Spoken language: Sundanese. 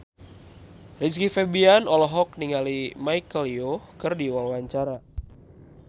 Rizky Febian olohok ningali Michelle Yeoh keur diwawancara